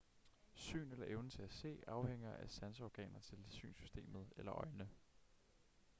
syn eller evnen til at se afhænger af sanseorganer til synssystemet eller øjne